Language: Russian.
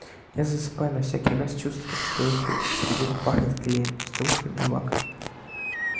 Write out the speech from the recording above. а засыпая на всякий раз чувствовал что от этих фигур пахнет клеем стружками и лаком